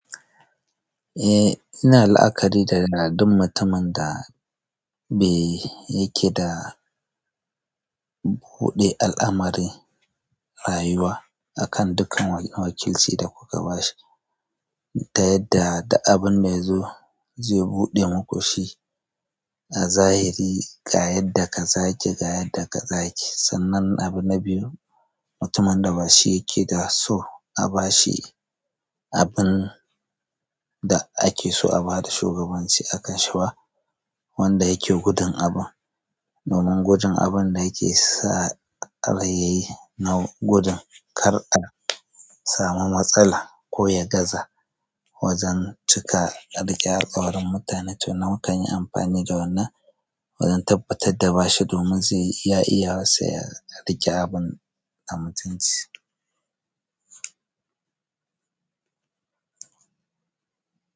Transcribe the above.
Eh, ina la'akari da duk mutumin da bai yake da buɗe al'amarin rayuwa akan dukan wakilci da kuka bashi, ta yadda da abin da ya zo zai buɗe muku shi a zahiri ga yadda kaza yake ga yadda kaza yake. Sannan abu na biyu, mutumin da ba shi yake da so a bashi abin da ake so a bada shugabanci akanshi ba wanda yake gudun abun. Domin gudun abun da yake sa a rayayyi na gudun kar a samu matsala ko ya gaza. Wajen cika a riƙe alƙawarin mutane to nan mukan yi amfani da wannan wajen tabbatar da bashi domin zai iya iya wasa ya riƙe abun mutun ci.